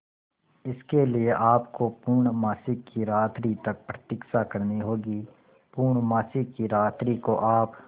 इसके लिए आपको पूर्णमासी की रात्रि तक प्रतीक्षा करनी होगी पूर्णमासी की रात्रि को आप